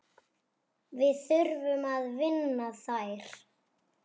Við þurfum að vinna þær.